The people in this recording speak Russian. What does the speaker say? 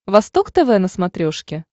восток тв на смотрешке